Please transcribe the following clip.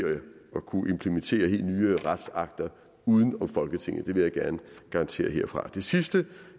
at kunne implementere helt nye retsakter uden om folketinget det vil jeg gerne garantere herfra det sidste